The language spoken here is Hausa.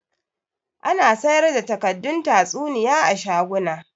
Ana sayar da takaddun tatsuniya a shaguna